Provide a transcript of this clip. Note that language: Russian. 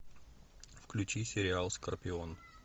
включи сериал скорпион